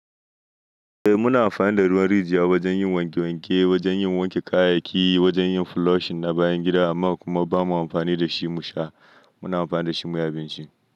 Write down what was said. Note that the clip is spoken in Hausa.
Eh muna amfani da ruwan rijiya wajen yin wanke wanke, wajen yin wanke kayayyaki, wajen yin flushing na bayan gida amma kuma bamu amfani da shi mu sha. Muna amfani da shi muyi abinci.